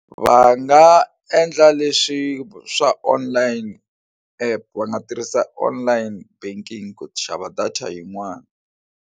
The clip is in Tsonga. Va nga endla leswi swa online app va nga tirhisa online banking ku xava data yin'wana.